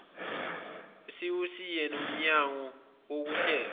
usuyisiwe nakumnyango wokuhlelwa